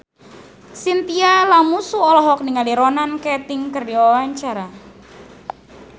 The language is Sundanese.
Chintya Lamusu olohok ningali Ronan Keating keur diwawancara